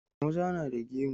Maza na da gemu.